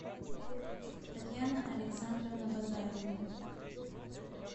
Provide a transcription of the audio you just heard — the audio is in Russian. татьяна александровна базарова